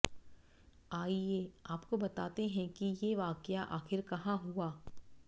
आइये आपको बताते हैं कि ये वाकया आखिर कहाँ हुआ